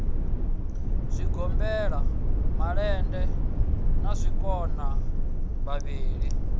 zwigombela malende na zwikona vhavhili